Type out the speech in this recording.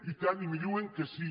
i tant i me diuen que sí